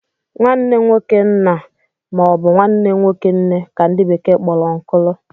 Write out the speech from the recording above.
nwanne nwoke nna ma ọ bụ nwanne nwoke nne ka ndi bekee kporo ùnkulu